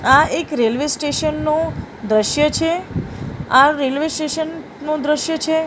આ એક railway station નુ દ્રશ્ય છે આ રેલ્વે સ્ટેશન નુ દ્રશ્ય છે.